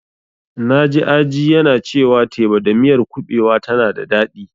Na ji Aji yana cewa teba da miyar kuɓewa tana da daɗi.